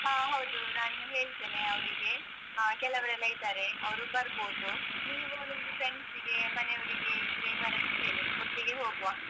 ಹ ಹೌದು ನಾನು ಹೇಳ್ತೇನೆ ಅವರಿಗೆ ಹಾ ಕೆಲವರೆಲ್ಲ ಇದ್ದಾರೆ ಅವರು ಬರ್ಬೋದು. ನೀವು ನಿಮ್ friends ಗೆ ಮನೆಯವರಿಗೆ ಇದ್ರೆ ಬರಕ್ ಹೇಳಿ ಒಟ್ಟಿಗೆ ಹೋಗ್ವಾ.